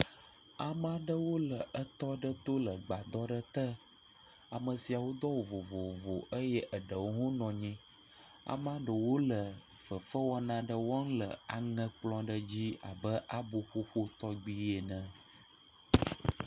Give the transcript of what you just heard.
Ame aɖewo le etɔ aɖe to le gbadɔ aɖe te. Ame siawo do awu vovovo eye eɖewo hã nɔ anyi. Amea ɖewo le fefewɔna aɖe wɔm le aŋekplɔ aɖe dzi abe abo ƒoƒo tɔgi ene.